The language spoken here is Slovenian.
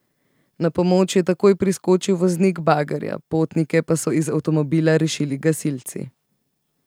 Na pomoč je takoj priskočil voznik bagerja, potnike pa so iz avtomobila rešili gasilci.